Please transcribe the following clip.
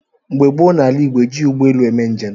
Mgbe gboo n’ala Igbo, ejighị ụgbọelu eme njem.